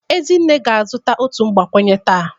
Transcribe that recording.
Ezinne ga-azụta otu mgbakwunye taa